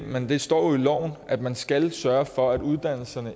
men det står jo i loven at man skal sørge for at uddannelsernes